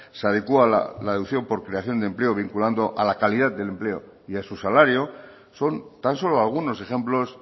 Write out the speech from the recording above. se adecua la reducción por creación de empleo vinculando a la calidad del empleo y a su salario son tan solo algunos ejemplos